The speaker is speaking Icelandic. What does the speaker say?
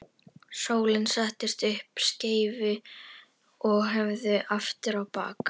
Sóla setti upp skeifu og hörfaði aftur á bak.